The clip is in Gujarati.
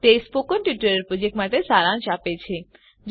1 તે સ્પોકન ટ્યુટોરીયલ પ્રોજેક્ટનો સારાંશ આપે છે